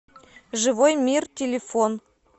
живой мир телефон